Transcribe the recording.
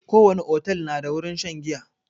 Ko wani otel na da wurin shan giya